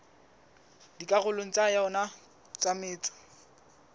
dikarolong tsa yona tsa metso